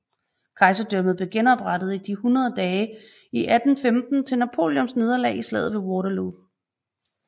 Kejserdømmet blev genoprettet i de hundrede dage i 1815 til Napoleons nederlag i slaget ved Waterloo